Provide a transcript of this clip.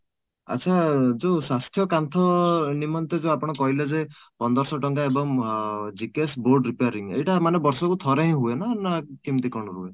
ଆଚ୍ଛା ଯୋଉ ସ୍ୱାସ୍ଥ୍ୟ କାନ୍ଥ ନିମନ୍ତେ ଯୋଉ ଆପଣ କହିଲେ ଯେ ପନ୍ଦରଶହ ଟଙ୍କା ଏବଂ ଅଂ GKS board repairing ଏଇଟା ମାନେ ବର୍ଷ କୁ ଥରେ ହିଁ ହୁଏ ନା, ନା କେମିତି କ'ଣ ?